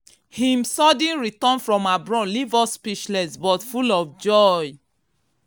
him sudden return from abroad leave us speechless but full of joy.